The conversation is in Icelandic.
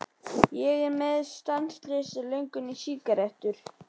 Ég er með stanslausa löngun í sígarettur.